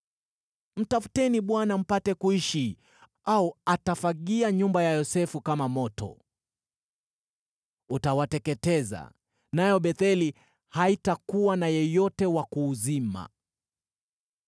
Mtafuteni Bwana mpate kuishi, au atafagia nyumba ya Yosefu kama moto; utawateketeza, nayo Betheli haitakuwa na yeyote wa kuuzima.